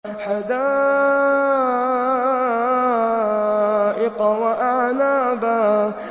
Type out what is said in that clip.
حَدَائِقَ وَأَعْنَابًا